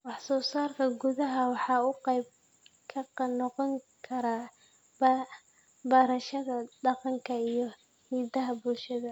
Wax soo saarka gudaha waxa uu qayb ka noqon karaa barashada dhaqanka iyo hidaha bulshada.